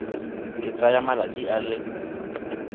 e tsaya malatsi a le